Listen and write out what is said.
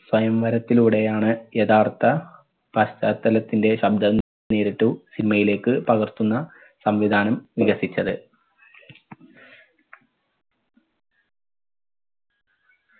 സ്വയംവരത്തിലൂടെയാണ് യഥാർത്ഥ പശ്ചാത്തലത്തിന്റെ ശബ്ദം നേരിട്ടു cinema യിലേക്ക് പകർത്തുന്ന സംവിധാനം വികസിച്ചത്.